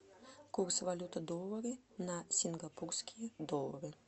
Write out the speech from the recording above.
курс валюты доллары на сингапурские доллары